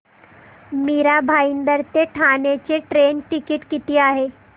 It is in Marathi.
मीरा भाईंदर ते ठाणे चे ट्रेन टिकिट किती आहे